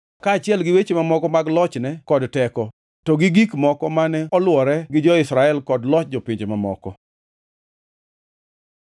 kaachiel gi weche mamoko mag lochne kod teko, to gi gik moko mane olwore gi jo-Israel kod loch jopinje mamoko.